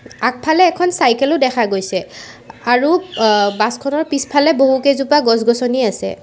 আগফালে এখন চাইকেল ও দেখা গৈছে আৰু বাছ খনৰ পিছফালে বহুকেইজোপা গছ গছনি আছে।